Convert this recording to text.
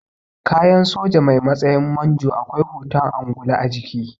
Kayan soja mai matsayin manjo akwai hoton angulu a jiki